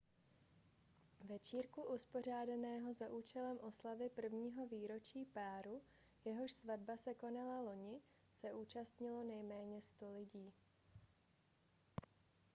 večírku uspořádaného za účelem oslavy prvního výročí páru jehož svatba se konala loni se zúčastnilo nejméně 100 lidí